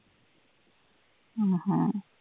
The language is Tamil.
ஆஹ் ஆஹ்